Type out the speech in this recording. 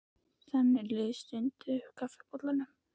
Það líður stuna upp úr kaffibollanum.